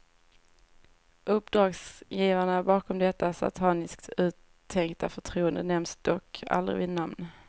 Uppdragsgivarna bakom detta sataniskt uttänkta förtroende nämns dock aldrig vid namn.